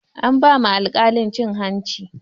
An ba ma alkalin cin hanci